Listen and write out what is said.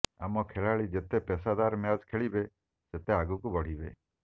ଆମ ଖେଳାଳି ଯେତେ ପେସାଦାର ମ୍ୟାଚ ଖେଳିବେ ସେତେ ଆଗକୁ ବଢିବେ